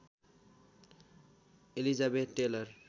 Elizabeth tailor